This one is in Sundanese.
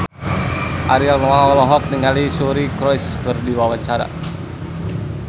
Ariel Noah olohok ningali Suri Cruise keur diwawancara